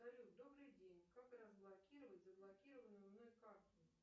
салют добрый день как разблокировать заблокированную мной карту